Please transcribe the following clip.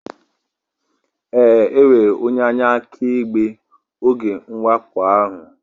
Ee, enwere onye anya akaebe n'oge mwakpo ahụ